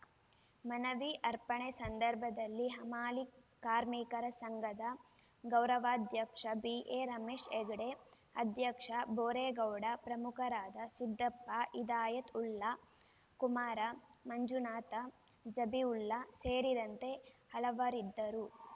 ಮನವಿ ಅರ್ಪಣೆ ಸಂದರ್ಭದಲ್ಲಿ ಹಮಾಲಿ ಕಾರ್ಮಿಕರ ಸಂಘದ ಗೌರವಾಧ್ಯಕ್ಷ ಬಿ ಎ ರಮೇಶ್‌ ಹೆಗ್ಡೆ ಅಧ್ಯಕ್ಷ ಭೋರೇಗೌಡ ಪ್ರಮುಖರಾದ ಸಿದ್ದಪ್ಪ ಇದಾಯತ್‌ಉಲ್ಲಾ ಕುಮಾರ ಮಂಜುನಾಥ್‌ ಜಬೀವುಲ್ಲ ಸೇರಿದಂತೆ ಹಲವರಿದ್ದರು